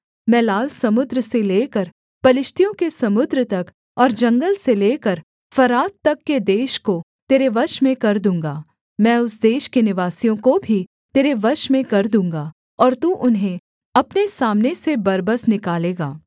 मैं लाल समुद्र से लेकर पलिश्तियों के समुद्र तक और जंगल से लेकर फरात तक के देश को तेरे वश में कर दूँगा मैं उस देश के निवासियों को भी तेरे वश में कर दूँगा और तू उन्हें अपने सामने से बरबस निकालेगा